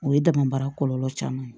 O ye dama baara kɔlɔlɔ caman ye